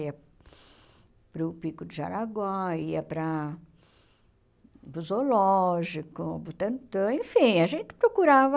Ia para o Pico de Jaraguá, ia para para o Zoológico, Butantã, enfim, a gente procurava.